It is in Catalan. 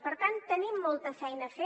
per tant tenim molta feina a fer